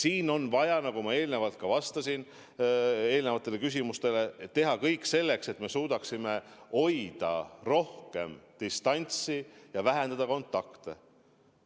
Nüüd on vaja, nagu ma eelmistele küsimustele vastates ütlesin, teha kõik selleks, et me suudaksime hoida rohkem distantsi ja vähendada kontakte.